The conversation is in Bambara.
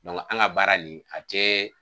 an ka baara nin a tɛ